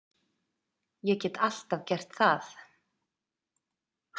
Ég get alltaf gert það.